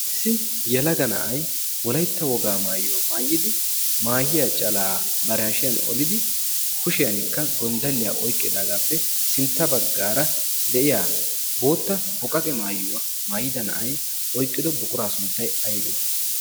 Issi yelaga na'ay Wolaytta wogaa maaayuwa maayidi, maahiya calaa bari hashiyan olidi, kushiyanikka gonddalliya oyqqidaagaappe sintta baggaara de'iya bootta boqaqe maayuwa maayida na'ay oyqqido buquraa sunttay aybee?